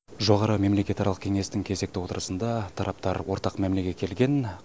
жоғары мемлекетаралық кеңестің кезекті отырысында тараптар ортақ мәмілеге келген